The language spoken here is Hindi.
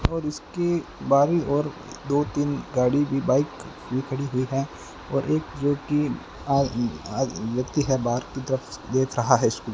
और इसके बाहरी ओर दो तीन गाड़ी भी बाइक भी खड़ी हुई है और एक जोकि आ आ व्यक्ति है बाहर की तरफ देख रहा है उस --